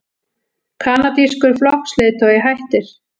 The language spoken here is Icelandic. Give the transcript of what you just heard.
Kanadískur flokksleiðtogi hættir